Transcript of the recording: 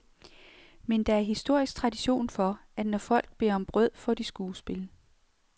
Men der er historisk tradition for, at når folk beder om brød, får de skuespil.